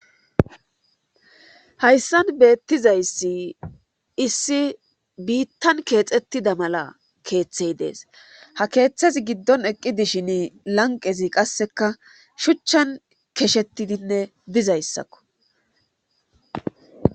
hayssan beettizayssi issi biittan keexettida mala keeththey dees ha keeththezi giddon eqqi dishin lanqezi qasseka shuchchan keshettidinne dizayssakko